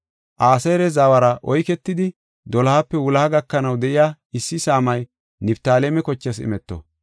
Aseera zawara oyketidi, dolohape wuloha gakanaw de7iya issi saamay Niftaaleme kochaas imeto.